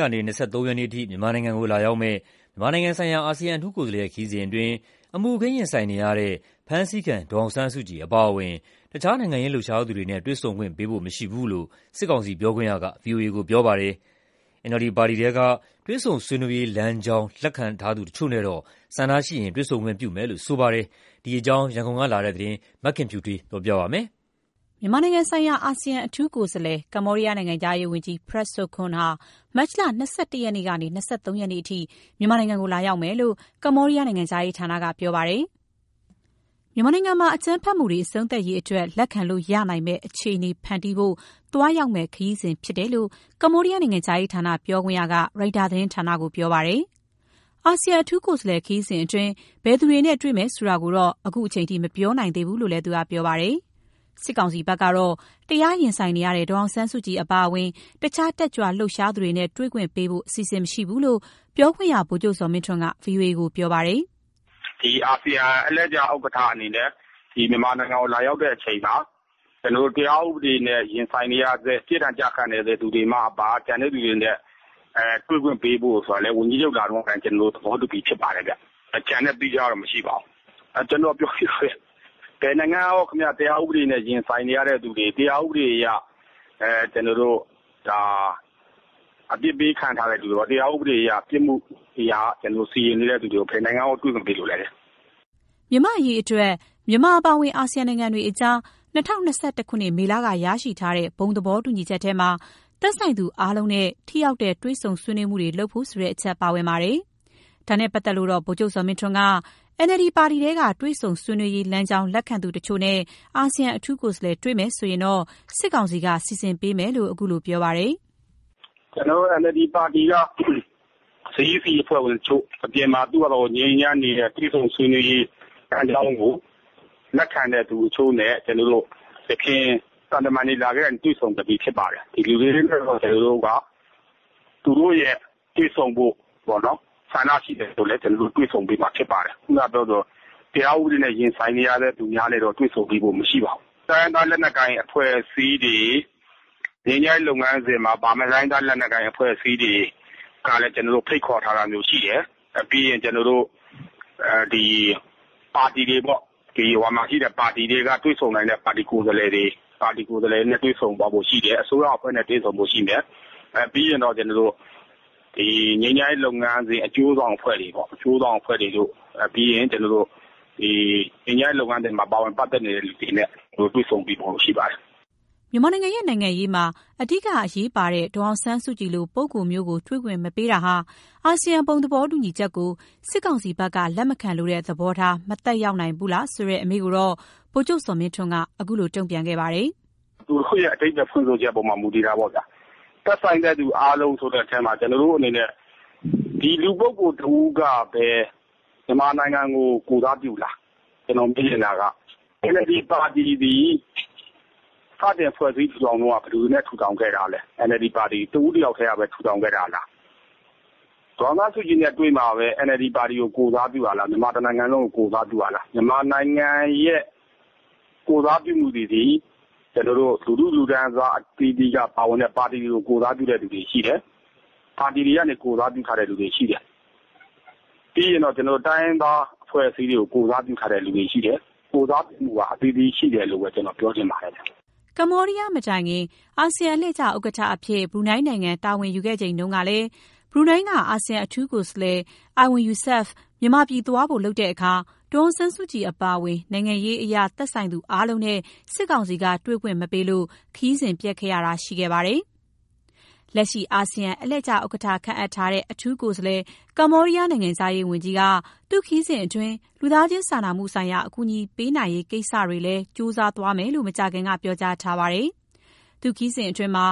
ကနေ ၂၃ ရက်နေ့အထိ မြန်မာနိုင်ငံကို လာရောက်မယ့် မြန်မာနိုင်ငံဆိုင်ရာ အာဆီယံအထူးကိုယ်စားလှယ်ရဲ့ ခရီးစဉ်အတွင်း အမှုအခင်းရင်ဆိုင် နေရတဲ့ ဖမ်းဆီးခံဒေါ်အောင်ဆန်းစုကြည်အပါအဝင် တခြားနိုင်ငံရေးလှုပ်ရှားသူတွေနဲ့ တွေ့ဆုံခွင့် ပေးဖို့မရှိဘူးလို့ စစ်ကောင်စီပြောခွင့်ရက ဗီအိုအေကို ပြောပါတယ်။ NLD ပါတီက တွေ့ဆုံဆွေးနွေးရေးလမ်းကြောင်းလက်ခံသူတချို့နဲ့တော့ ဆန္ဒရှိရင်တွေ့ဆုံခွင့်ပြုမယ်လို့ ပြောပါတယ်။ ဒီအကြောင်း ရန်ကုန်ကလာတဲ့ သတင်းကို မခင်ဖြူထွေးက တင်ပြပေးထားပါတယ်။ မြန်မာနိုင်ငံဆိုင်ရာ အာဆီယံ အထူးကိုယ်စားလှယ် ကမ္ဘောဒီးယားနိုင်ငံခြားရေးဝန်ကြီး Prak Sokhon ဟာမတ်လ ၂၁ ရက်ကနေ ၂၃ ရက်အထိ မြန်မာနိုင်ငံကို သွားရောက်မယ်လို့ ကမ္ဘောဒီးယားနိုင်ငံခြားရေးဌာနက ပြောပါတယ်။ မြန်မာနိုင်ငံမှာ အကြမ်းဖက်မှုတွေ အဆုံးသတ်စေရေးအတွက် လက်ခံလို့ရနိုင်မယ့်အခြေအနေဖန်တီးဖို့ သွားရောက်မယ့်ခရီးစဉ်ဖြစ်တယ်လို့ ကမ္ဘောဒီးယားနိုင်ငံခြားရေးဌာနပြောခွင့်ရက Reuters သတင်းဌာနကို ပြောကြားပါတယ်။ အာဆီယံအထူးကိုယ်စားလှယ်ခရီးစဉ်အတွင်း ဘယ်သူတွေနဲ့ တေ့ွမယ်ဆိုတာကိုတော့ အခုအချိန်မှာ မပြောနိုင်သေးဘူးလို့လည်း သူကပြောပါတယ်။ စစ်ကောင်စီဘက်ကတော့ တရားရင်ဆိုင်နေရတဲ့ ဒေါ်အောင်ဆန်းစုကြည်အပါအဝင် တခြားတက်ကြွလှုပ်ရှားသူတွေနဲ့ တွေ့ခွင့်ပေးဖို့အစီစဉ်မရှိဘူးလို့ ပြောခွင့်ရ ဗိုလ်ချုပ် ဇော်မင်းထွန်းက ဗွီအိုအေကို ပြောပါတယ်။ “ဒီ အာဆီယံအလှည့်ကျဥက္ကဋ္ဌအနေနဲ့ မြန်မာနိုင်ငံကိုလာရောက်တဲ့အချိန်မှာ တရားဥပဒေနဲ့ရင်ဆိုင်နေရဆဲ၊ ပြစ်ဒဏ်ကျခံနေရဆဲလူတွေမှအပ ကျန်တဲ့သူတွေနဲ့တွေ့ခွင့်ပေးဖို့ဆိုတာကိုလည်း ဝန်ကြီးချုပ်လာတုန်းကလည်း သဘောတူပြီးသားဖြစ်ပါတယ်ဗျ။ ကျန်တဲ့သီးခြားတော့ မရှိပါဘူး။ ကျနော် ပြောပြီးသားပဲ။ ဘယ်နိုင်ငံကရော တရားဥပဒေနဲ့ရင်ဆိုင်နေရတဲ့သူတွေ၊ တရားဥပဒေအရ အပြစ်ပေးခံထားရတဲ့သူတွေ၊ တရားဥပဒေအရ ပြစ်မှုစီရင်ခံနေရတဲ့သူတွေကို ဘယ်နိုင်ငံတွေကရော တွေ့ခွင့်ပေးလို့လဲဗျ။” မြန်မာ့အရေးအတွက် မြန်မာအပါအဝင် အာဆီယံနိုင်ငံတွေကြား ၂၀၂၁ ခုနှစ် မေလက ရရှိထားတဲ့ ဘုံသဘောတူညီချက်ထဲမှာ သက်ဆိုင်သူအားလုံးနဲ့ ထိရောက်တဲ့ တွေ့ဆွေးနွေးမှုတွ လုပ်ဖို့ဆိုတဲ့ အချက်ပါဝင်ပါတယ်။ ဒါနဲ့ပါတ်သက်လို့တော့ ဗိုလ်ချုပ်ဇော်မင်းထွန်းက NLD ပါတီထဲက တွေ့ဆုံဆွေးနွေးရေးလမ်းကြောင်းလက်ခံသူတချို့ နဲ့ အာဆီယံအထူးကိုယ်စားလှယ် တွေ့မယ်ဆိုရင်တော့ စစ်ကောင်စီက စီစဉ်ပေးမယ်လို့ ခုလို ပြောကြားပါတယ်။ “NLD ပါတီက CEC အဖွဲ့ဝင်တချို့၊ အပြင်မှာ သူ့ဖာသာသူငြိမ်းငြိမ်းချမ်းချမ်းနေတဲ့ တွေ့ဆုံဆွေးနွေးရေးလမ်းကြောင်းကို လက်ခံတဲ့သူအချို့နဲ့ ယခင် သံတမန်တွေလာကတည်းက တွေ့ဆုံခဲ့ပြီးဖြစ်ပါတယ်။ ဒီလူတွေနဲ့ကတော့ ကျနော်တို့က သူတို့ရဲ့တွေ့ဆုံဖို့ပေါ့နော်-ဆန္ဒရှိတယ်ဆိုလည်း ကျနော်တို့က တွေ့ဆုံပေးမှာဖြစ်ပါတယ်။ ခုနကပြောသလို တရားဥပဒေနဲ့ရင်ဆိုင်နေရတဲ့သူများနဲ့တော့ တွေ့ဆုံပေးဖို့ မရှိပါဘူး။ ငြိမ်းချမ်းရေးလုပ်ငန်းစဉ်မှာပါမယ့် တိုင်းရင်းသား လက်နက်ကိုင်အဖွဲ့အစည်းတွေကလည်း ကျနော်တို့ ဖိတ်ခေါ်ထားတာမျိုး ရှိတယ်။ ပြီးရင် ပါတီတွေပေါ့။ ပါတီတွေက တွေ့ဆုံနိုင်တဲ့ကိုယ်စားလှယ်တွေနဲ့ တွေ့ဆုံသွားဖို့ရှိတယ်။ အစိုးရအဖွဲ့နဲ့ တွေ့ဆုံဖို့ရှိမယ်။ ပြီးရင်တော့ ငြိမ်းချမ်းရေးလုပ်ငန်းစဉ်အကျိုးဆောင်အဖွဲ့တွေ၊ ပြီးရင် ငြိမ်းချမ်းရေးလုပ်ငန်းစဉ်မှာ ပါဝင်ပတ်သက်နေတဲ့သူတွေနဲ့ တွေ့ဆုံပေးဖို့ရှိပါတယ်။” မြန်မာနိုင်ငံရဲ့ နိုင်ငံရေးမှာ အဓိကအရေးပါတဲ့ ဒေါ်အောင်ဆန်းစုကြည်လို့ ပုဂ္ဂိုလ်မျိုးကို တွေ့ခွင့်မပေးတာဟာ အာဆီယံဘုံသဘောတူညီချက်ကို စစ်ကောင်စီဘက်က လက်မခံလိုတဲ့ သဘောထား မသက်ရောက်နိုင်ဘူးလားဆိုတဲ့ အမေးကိုတော့ ဗိုလ်ချုပ်ဇော်မင်းထွန်းက အခုလိုတုံ့ပြန်ခဲ့ပါတယ်။ “...ရဲ့အဓိပ္ပာယ်ဖွင့်ဆိုချက်အပေါ်မှာ မူတည်တာပေါ့ဗျာ။ သက်ဆိုင်တဲ့သူအားလုံးဆိုတဲ့အထဲမှာ ကျနော်တို့အနေနဲ့ လူပုဂ္ဂိုလ်တဦးကပဲ မြန်မာနိုင်ငံကို ကိုယ်စားပြုလား၊ ကျနော်မေးချင်တာက။ NLD ပါတီသည် စတင်ဖွဲ့စည်းထူထောင်တုန်းက ဘယ်သူတွေနဲ့ ထူထောင်ခဲ့တာလဲ။ NLD ပါတီကို တဦးတယောက်တည်းကပဲ ထူထောင်ခဲ့တာလား။ ဒေါ်အောင်ဆန်းစုကြည်နဲ့တွေ့မှပဲ NLD ပါတီကို ကိုယ်စားပြုတာလား။ မြန်မာ တနိုင်ငံလုံးကို ကိုယ်စားပြုတာလား။ မြန်မာနိုင်ငံရဲ့ကိုယ်စားပြုမှုတွေသည် လူထုလူတန်းစားအသီးသီးက ပါဝင်ပြီး ပါတီတွေကို ကိုယ်စားပြုတဲ့သူတွေရှိတယ်၊ ပါတီတွေကနေ ကိုယ်စားပြုထားတဲ့သူတွေရှိတယ်။ ပြီးရင်တော့ တိုင်းရင်းသားအဖွဲ့အစည်းတွေကို ကိုယ်စားပြုထားတဲ့လူတွေရှိတယ်။ ကိုယ်စားပြုမှုက အသီးသီးရှိတယ်လို့ပဲ ပြောချင်ပါတယ်ဗျ။” ကမ္ဘောဒီးယားမတိုင်ခင် အာဆီယံအလှည့်ကျ ဥက္ကဋ္ဌအဖြစ် ဘရူးနိုင်းနိုင်ငံ တာဝန်ယူခဲ့တုန်းကလည်း ဘရူးနိုင်းက အာဆီယံအထူးကိုယ်စားလှယ် Erywon Yusof မြန်မာပြည် သွားဖို့လုပ်တဲ့အခါ ဒေါ်အောင်ဆန်းစုကြည်အပါအဝင် နိုင်ငံရေးအရ သက်ဆိုင်သူအားလုံးနဲ့ စစ်ကောင်စီက တွေ့ခွင့်မပေးလို့ ခရီးစဉ်ပျက်ခဲ့ရတာရှိခဲ့ပါတယ်။ လက်ရှိအာဆီယံ အလှည့်ကျဥက္ကဋ္ဌခန့်အပ်ထားတဲ့ အထူးကိုယ်စားလှယ် ကမ္ဘောဒီးယားနိုင်ငံခြားရေးဝန်ကြီးက သူ့ခရီးစဉ်အတွင်း လူသားချင်း စာနာမှုဆိုင်ရာ အကူညီပေးနိုင်ရေးကိစ္စတွေလည်း ကြိုးစားမယ်လို့ မကြာခင်က ပြောကြားထားပါတယ်။ သူ့ခရီးစဉ်အတွင်း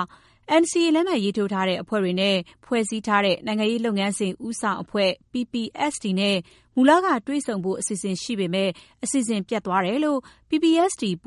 NCA လက်မှတ်ထိုးအဖွဲ့တွေနဲ့ ဖွဲ့စည်းထားတဲ့ နိုင်ငံရေးလုပ်ငန်းစဉ် ဦးဆောင်အဖွဲ့ PPST နဲ့ မူလကတွေ့ဆုံဖို့ အစီအစဉ်ရှိပေမဲ့ အစီအစဉ် ပျက် သွားတယ်လို့ PPST ပူ